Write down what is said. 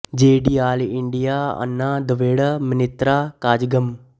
ਜੇ D all India Anna Dravida Munnetra Kazhagam ਏ